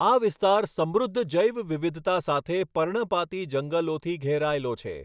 આ વિસ્તાર સમૃદ્ધ જૈવ વિવિધતા સાથે પર્ણપાતી જંગલોથી ઘેરાયેલો છે.